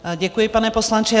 Děkuji, pane poslanče.